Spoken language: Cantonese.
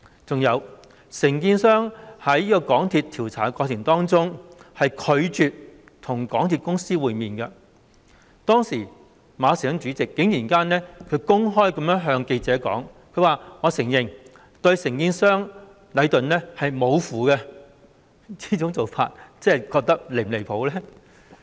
還有，承建商在港鐵公司調查的過程中拒絕與港鐵公司會面，但是，港鐵公司主席馬時亨竟然公開向記者承認對承建商禮頓"無符"，這樣又是否離譜呢？